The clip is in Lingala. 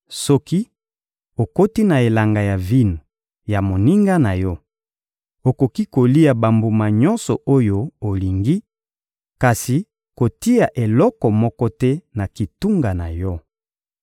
Soki okoti na elanga ya vino ya moninga na yo, okoki kolia bambuma nyonso oyo olingi, kasi kotia eloko moko te na kitunga na yo.